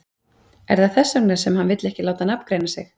Er það þess vegna sem hann vill ekki láta nafngreina sig?